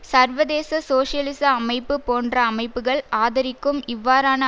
சர்வதேச சோசியலிச அமைப்பு போன்ற அமைப்புக்கள் ஆதரிக்கும் இவ்வாறான